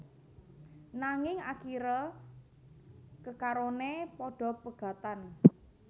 Nanging akiré kekaroné padha pegatan